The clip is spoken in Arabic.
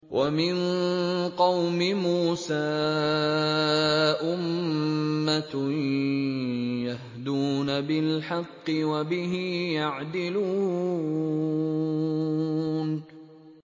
وَمِن قَوْمِ مُوسَىٰ أُمَّةٌ يَهْدُونَ بِالْحَقِّ وَبِهِ يَعْدِلُونَ